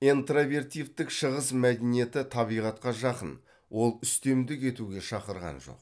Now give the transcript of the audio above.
интровертивтік шығыс мәдениеті табиғатқа жақын ол үстемдік етуге шақырған жоқ